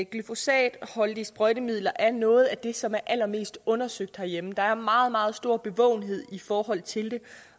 glyfosatholdige sprøjtemidler er noget af det som er allermest undersøgt herhjemme der er meget meget stor bevågenhed i forhold til